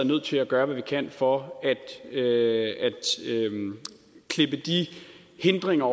nødt til at gøre hvad vi kan for at at klippe de hindringer